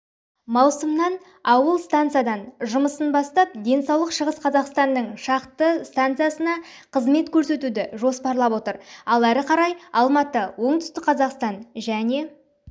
маусымнан аул стансадан жұмысын бастап денсаулық шығыс қазақстанның шақты станциясына қызмет көрсетуді жоспарлап отыр ал әрі қарай алматы оңтүстік қазақстан және